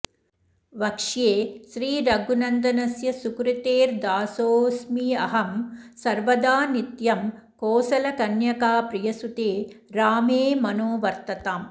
वक्ष्ये श्रीरघुनन्दनस्य सुकृतेर्दासोस्म्यहं सर्वदा नित्यं कोसलकन्यकाप्रियसुते रामे मनो वर्तताम्